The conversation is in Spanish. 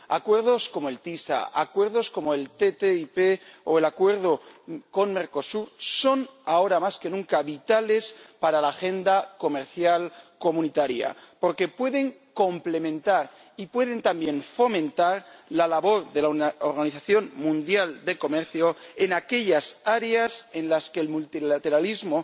Acuerdos como el ACS, acuerdos como la ATCI o el acuerdo con Mercosur son, ahora más que nunca, vitales para la agenda comercial de la Unión, porque pueden complementar y pueden también fomentar la labor de la Organización Mundial del Comercio en aquellas áreas en las que el multilateralismo